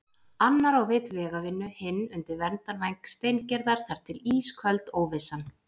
Annar á vit vegavinnu, hinn undir verndarvæng Steingerðar- þar til ísköld óvissan.